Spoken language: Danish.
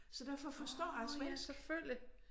Så derfor forstår jeg svensk